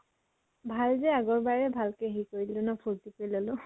ভাল যে আগৰ বাৰে ভালকে হেৰি কৰি দিলো ন ফুৰ্তি কৰি ললো